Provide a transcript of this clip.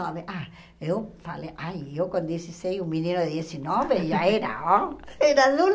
Ah, eu falei, ai, eu com dezesseis, um menino de dezenove, já era, ó. Era